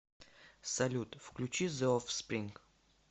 салют включи зе офспринг